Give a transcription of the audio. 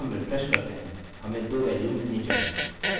अतः जब हम रिफ्रेश करते हैं हमें 2 वेल्यू मिलनी चाहिए